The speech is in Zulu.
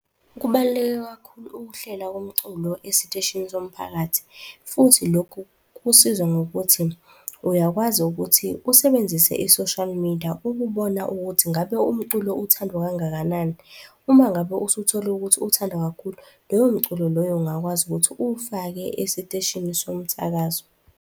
Kubaluleke kakhulu ukuhlela komculo esiteshini somphakathi futhi lokhu kusiza ngokuthi uyakwazi ukuthi usebenzise i-social media ukubona ukuthi ngabe umculo uthandwa kangakanani, uma ngabe usuthole ukuthi uthandwa kakhulu, loyo mculo loyo ungakwazi ukuthi uwufake esiteshini somsakazo.